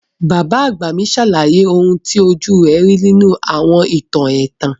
Bàbá àgbà mi sàlàyé oun ti ojú rẹ̀ ri nínú àwọn ìtàn ẹ̀tàn.